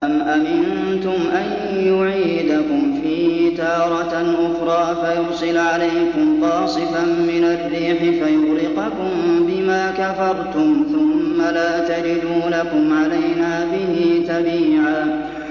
أَمْ أَمِنتُمْ أَن يُعِيدَكُمْ فِيهِ تَارَةً أُخْرَىٰ فَيُرْسِلَ عَلَيْكُمْ قَاصِفًا مِّنَ الرِّيحِ فَيُغْرِقَكُم بِمَا كَفَرْتُمْ ۙ ثُمَّ لَا تَجِدُوا لَكُمْ عَلَيْنَا بِهِ تَبِيعًا